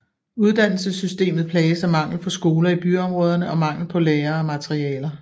Uddannelsessystemet plages af mangel på skoler i byområderne og mangel på lærere og materialer